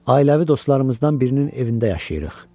Ailəvi dostlarımızdan birinin evində yaşayırıq.